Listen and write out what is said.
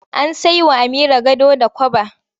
An sai wa Amira gado da kwaba.